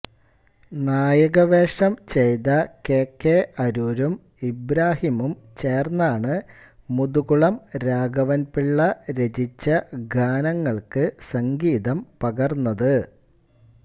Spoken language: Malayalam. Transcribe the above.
നായകവേഷം ചെയ്ത കെ കെ അരൂരും ഇബ്രാഹിമും ചേർന്നാണ് മുതുകുളം രാഘവൻപിള്ള രചിച്ച ഗാനങ്ങൾക്ക് സംഗീതം പകർന്നത്